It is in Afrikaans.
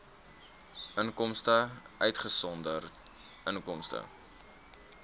inkomste uitgesonderd inkomste